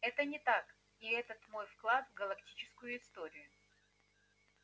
это не так и это мой вклад в галактическую историю